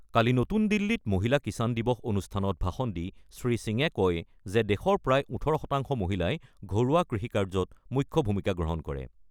কালি নতুন দিল্লীত মহিলা কিষাণ দিৱস অনুষ্ঠানত ভাষণ দি শ্ৰীসিঙে কয় যে দেশৰ প্ৰায় ১৮ শতাংশ মহিলাই ঘৰুৱা কৃষিকাৰ্যত মুখ্য ভূমিকা গ্ৰহণ কৰে।